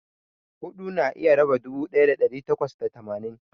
huɗu na iya raba dubu ɗaya da ɗari takwas da tamanin.